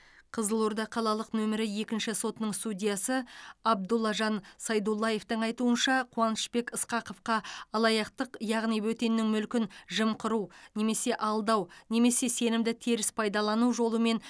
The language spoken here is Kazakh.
қызылорда қалалық нөмірі екінші сотының судьясы абдуллажан сайдуллаевтың айтуынша қуанышбек ысқақовқа алаяқтық яғни бөтеннің мүлкін жымқыру немесе алдау немесе сенімді теріс пайдалану жолымен